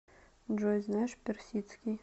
джой знаешь персидский